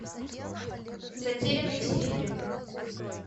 затерянный в сибири